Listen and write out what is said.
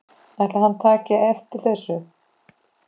Ætli hann taki eftir þessu?